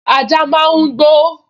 Ajá máa n gbó